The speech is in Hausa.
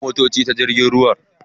Ana kawo motocin ta jirgin ruwa.